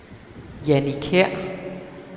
Jannie Kjær